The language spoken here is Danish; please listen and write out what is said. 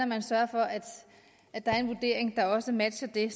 man sørger for at at der er en vurdering der også matcher det